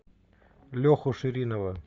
леху ширинова